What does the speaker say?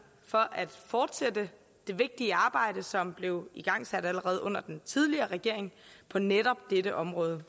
for at fortsætte det vigtige arbejde som blev igangsat allerede under den tidligere regering på netop dette område